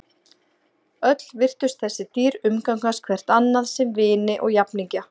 Öll virtust þessi dýr umgangast hvert annað sem vini og jafningja.